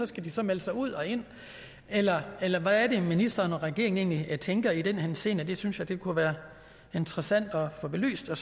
skal så melde sig ud og ind eller eller hvad er det ministeren og regeringen egentlig tænker i den henseende det synes jeg kunne være interessant at få belyst jeg